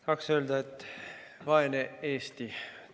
Tahaksin öelda, et vaene Eesti.